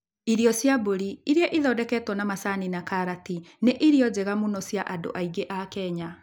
Irio cia mbũri, iria ithondeketwo na macani na karati, nĩ irio njega mũno cia andũ aingĩ a Kenya.